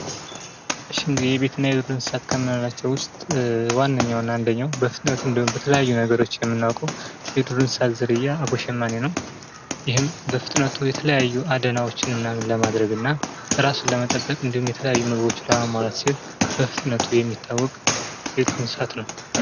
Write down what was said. እሽ እንግዲህ ከቤትና ከዱር እንስሳቶች ከምንላቸው ውስጥ ዋነኛውና አንደኛው በፍጥነቱ እንዲሁም በተለያዩ ነገሮች የምናውቀው የዱር እንስሳት አቦሸማኔ ነው ::ይህም በፍጥነቱ የተለያዩ አደናዎችን ለማድረግና ራሱን ለመጠበቅ የተለያዩ ምግቦችን ለማሟላት ሲል ይታወቅ በፍጥነቱ የሚታወቅ ዱር እንስሳት ነው